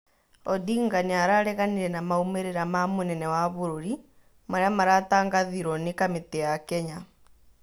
Odinga nĩarareganire na maumĩrĩra ma mũnene wa bũrũri marĩa maratangathirwo nĩ kamĩtĩ ya Kenya